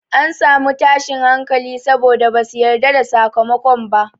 An samu tashin hankali saboda basu yarda da sakamakon ba.